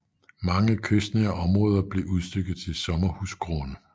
Mange kystnære områder blev udstykket til sommerhusgrunde